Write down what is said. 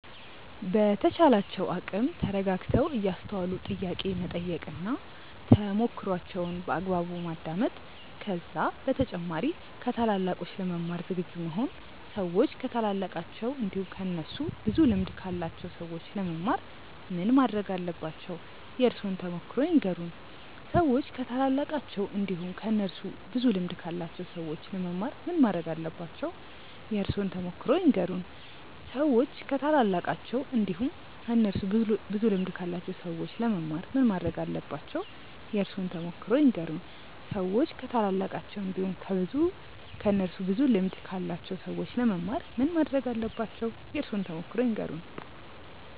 በተቻላቸው አቅም ተረጋግተው እያስተዋሉ ጥያቄ መጠየቅ እና ተሞክሮዋቸውን በአግባቡ ማዳመጥ ከዛ በተጨማሪ ከታላላቆች ለመማር ዝግጁ መሆን ሰዎች ከታላላቃቸው እንዲሁም ከእነሱ ብዙ ልምድ ካላቸው ሰዎች ለመማር ምን ማረግ አለባቸው? የእርሶን ተሞክሮ ይንገሩን? ሰዎች ከታላላቃቸው እንዲሁም ከእነሱ ብዙ ልምድ ካላቸው ሰዎች ለመማር ምን ማረግ አለባቸው? የእርሶን ተሞክሮ ይንገሩን? ሰዎች ከታላላቃቸው እንዲሁም ከእነሱ ብዙ ልምድ ካላቸው ሰዎች ለመማር ምን ማረግ አለባቸው? የእርሶን ተሞክሮ ይንገሩን? ሰዎች ከታላላቃቸው እንዲሁም ከእነሱ ብዙ ልምድ ካላቸው ሰዎች ለመማር ምን ማረግ አለባቸው? የእርሶን ተሞክሮ ይንገሩን?